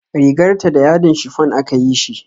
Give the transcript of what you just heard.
Rigar ta da yadin shifon aka yi shi